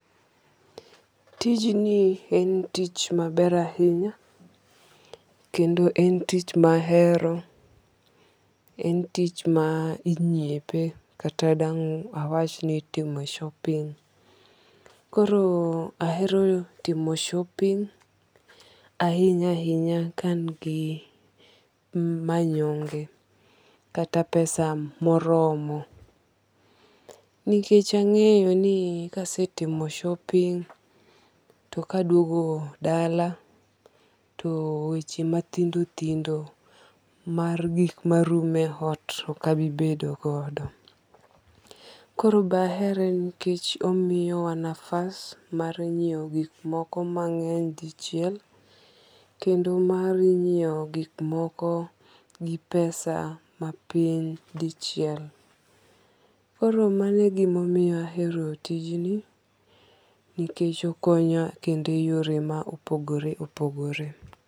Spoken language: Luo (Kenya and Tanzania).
Tijni en tich ma ber ahinya kendo en tich ma ahero, en tich ma inyiepe kata dang' awach mi itimo shopping. Koro ahero timo shopping ahinya ahinya ka an gi manyonge kata pesa ma oromo nikech angeyo ni ka asetimo shopping to ka adwogo dala to weche ma thindo thindo mae gik ma rumo e ot ok abi bedo godo. Koro ahere nikech omiyo wa nafas mar ngiewo gik moko gi pesa ma piny di chiel. Koro mano e gi ma omiyo ahero tijni nikech okonya e yore ma opogore opogore.